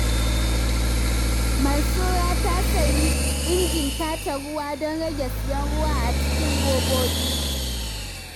Mansura ta sayi injin tace ruwa don rage siyan ruwa a cikin robobi.